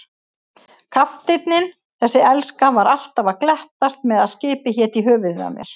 Kafteinninn, þessi elska, var alltaf að glettast með að skipið héti í höfuðið á mér.